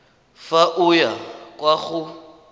fa o ya kwa go